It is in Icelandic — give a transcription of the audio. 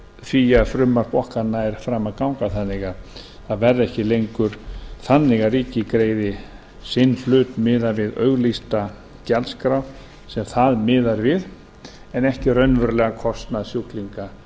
því að frumvarp okkar nær fram að ganga þannig að það verði ekki lengur þannig að ríkið greiði sinn hlut miðað við auglýsta gjaldskrá sem það miðar við en ekki raunverulegan kostnað sjúklinga